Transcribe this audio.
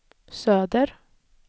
söder